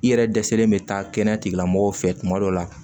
I yɛrɛ dɛsɛlen bɛ taa kɛnɛya tigilamɔgɔw fɛ kuma dɔw la